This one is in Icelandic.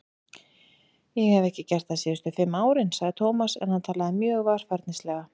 Ég hef ekki gert það síðustu fimm árin sagði Tómas en hann talaði mjög varfærnislega.